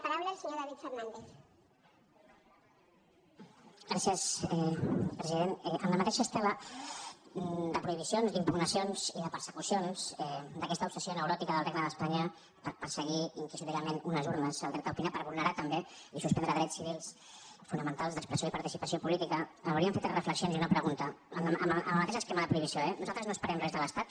president en la mateixa estela de prohibicions d’impugnacions i de persecucions d’aquesta obsessió neuròtica del regne d’espanya per perseguir inquisitorialment unes urnes el dret a opinar per vulnerar també i suspendre drets civils fonamentals d’expressió i participació política volem fer tres reflexions i una pregunta amb el mateix esquema de prohibició eh nosaltres no esperem res de l’estat